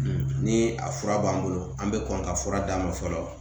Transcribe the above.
Ni a fura b'an bolo an bɛ kɔn ka fura d'a ma fɔlɔ